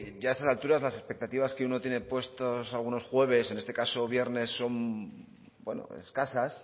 ya a estas alturas las expectativas que uno tiene puestos algunos jueves en este caso viernes son escasas